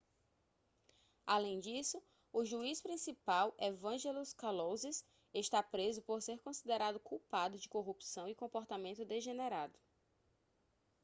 além disso o juiz principal evangelos kalousis está preso por ser considerado culpado de corrupção e comportamento degenerado